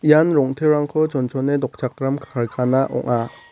ian rong·terangko chonchone dokchakram karkana ong·a.